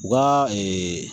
U ka